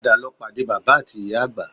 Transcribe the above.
Padà lọ pàdé bàbá ati ìyá àgbà